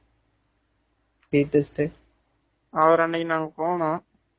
DCMK என்ன சொன்னாரு retest